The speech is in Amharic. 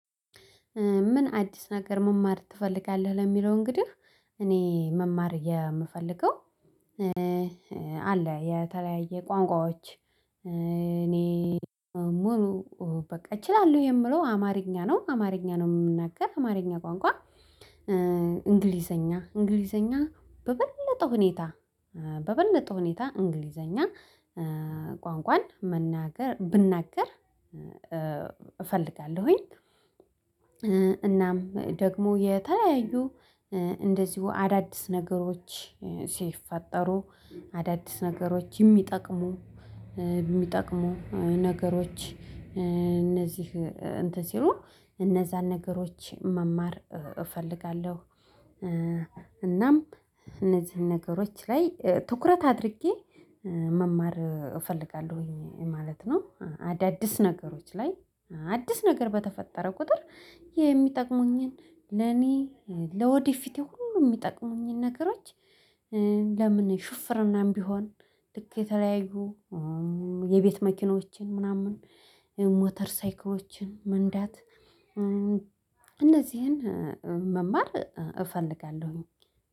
ምን አዲስ ነገር መማር ትፈልጋለህ? ለሚለው እንግዲህ እኔ መማር የምፈልገው አለ የተለያየ ቋንቋዎች እኔ ሙሉ በቃ እችላለሁ የምለው አማርኛ ነው። አማርኛ ነው የምናገር አማርኛ ቋንቋ። እንግሊዘኛ እንግሊዘኛ በበለጠ ሁኔታ በበለጠ ሁኔታ እንግሊዘኛ ቋንቋን መናገር ብናገር እፈልጋለሁኝ። እናም ደግሞ የተለያዩ እንደዚሁ አዳዲስ ነገሮች ሲፈጠሩ አዳዲስ ነገሮች የሚጠቅሙ የሚጠቅሙ ነገሮች እነዚህ እንትን ሲሉ እነዛን ነገሮች መማር እፈልጋለሁ። እናም እነዚህን ነገሮች ላይ ትኩረት አድርጌ መማር እፈልጋለሁኝ ማለት ነው። አዳዲስ ነገሮች ላይ አዲስ ነገር በተፈጠረ ቁጥር የሚጠቅሙኝን ለኔ ለወደፊቱ ሁሉ የሚጠቅሙኝን ነገሮች ለምን ሹፍርናም ቢሆን ልክ የተለያዩ የቤት መኪኖችን ምናምን ሞተር ሳይክሎችን መንዳት እነዚህን መማር እፈልጋለሁኝ።